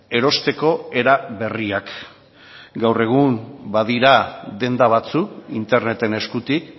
erosteko era berriak gaur egun badira denda batzuk interneten eskutik